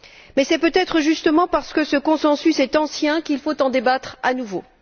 Mais c'est peut être, justement, parce que ce consensus est ancien qu'il faut en débattre à nouveau.